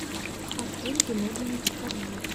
артуре геннадьевиче корже